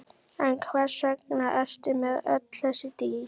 En hvers vegna ertu með öll þessi dýr?